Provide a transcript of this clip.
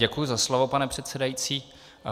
Děkuji za slovo, pane předsedající.